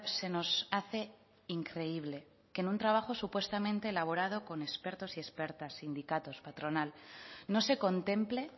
se nos hace increíble que en un trabajo supuestamente elaborado con expertos y expertas sindicatos patronal no se contemple